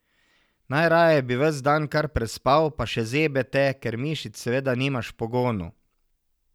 Najraje bi ves dan kar prespal pa še zebe te, ker mišic seveda nimaš v pogonu.